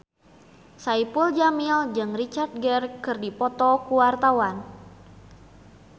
Saipul Jamil jeung Richard Gere keur dipoto ku wartawan